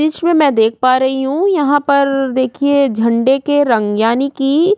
दृश्य में मैं देख पा रही हूँ यहाँ पर देखिये झंडे की रंग्यानी की--